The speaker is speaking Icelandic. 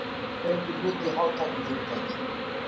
Kaupir hlut í hátæknifyrirtæki